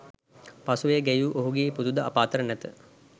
පසුව එය ගැයූ ඔහුගේ පුතු ද අප අතර නැත